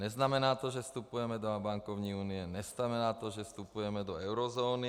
Neznamená to, že vstupujeme do bankovní unie, neznamená to, že vstupujeme do eurozóny.